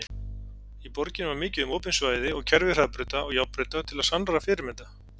Í borginni var mikið um opin svæði og kerfi hraðbrauta og járnbrauta til sannrar fyrirmyndar.